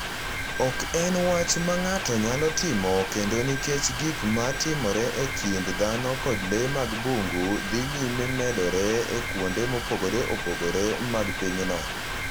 Ok en wach ma ng’ato nyalo timo kende nikech gik ma timore e kind dhano kod le mag bungu dhi nyime medore e kuonde mopogore opogore mag pinyno.